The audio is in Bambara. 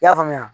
I y'a faamuya